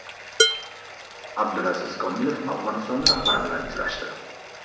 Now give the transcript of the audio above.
Abdulaziz Kamilov Afg‘oniston rahbari bilan uchrashdi.